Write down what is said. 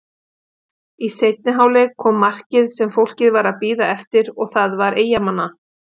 Í seinni hálfleik kom markið sem fólkið var að bíða eftir og það var Eyjamanna.